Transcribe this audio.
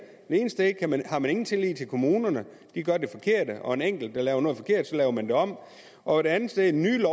ene sted har man ingen tillid til kommunerne de gør det forkerte og en enkelt laver noget forkert og så laver man det om og et andet sted i det nye